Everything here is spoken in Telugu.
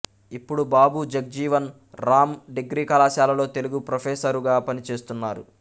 ఇప్పుడు బాబు జగ్జీవన్ రామ్ డిగ్రీ కళాశాలలో తెలుగు ప్రొఫెసరుగా పనిచేస్తున్నారు